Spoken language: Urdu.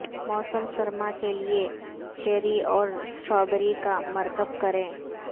موسم سرما کے لئے چیری اور سٹرابیری کا مرکب کریں